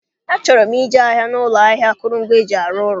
Achọrọ m ije ahịa n'ụlọ ahịa akụrụngwa eji arụ ụlọ